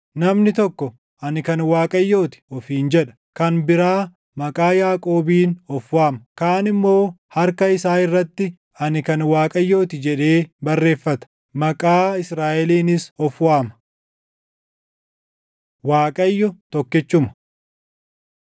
Namni tokko, ‘Ani kan Waaqayyoo ti’ ofiin jedha; kan biraa maqaa Yaaqoobiin of waama; kaan immoo harka isaa irratti, ‘Ani kan Waaqayyoo ti’ // jedhee barreeffata; maqaa Israaʼeliinis of waama. Waaqayyo Tokkichuma